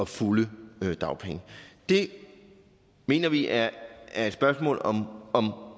fulde dagpenge det mener vi er er et spørgsmål om